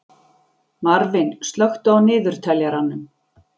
Marvin, slökktu á niðurteljaranum.